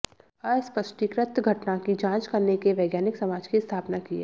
अस्पष्टीकृत घटना की जांच करने के वैज्ञानिक समाज की स्थापना की है